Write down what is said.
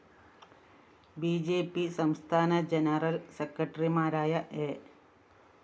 B J P സംസ്ഥാന general സെക്രട്ടറിമാരായ A